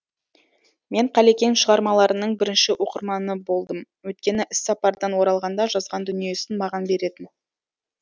мен қалекең шығармаларының бірінші оқырманы болдым өйткені іссапардан оралғанда жазған дүниесін маған беретін